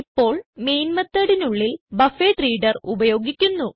ഇപ്പോൾ മെയിൻ methodനുള്ളിൽ ബഫറഡ്രീഡർ ഉപയോഗിക്കുന്നു